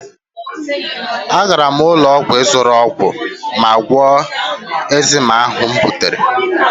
Agara m ụlọ ọgwụ ịzụrụ ọgwụ ma gwọọ ekzima ahụ m butere